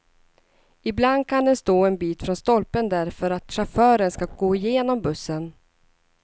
Ibland kan den stå en bit från stolpen därför att chauffören ska gå igenom bussen.